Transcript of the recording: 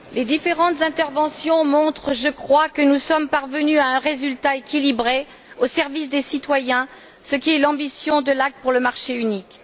Madame la Présidente, les différentes interventions montrent, je crois, que nous sommes parvenus à un résultat équilibré au service des citoyens, ce qui est l'ambition de l'Acte pour le marché unique.